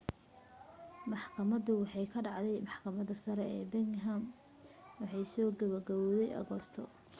maxkamadayntu waxay ka dhacday maxkamadda sare ee birmingham waxaanay soo gebo gabawday agoosto 3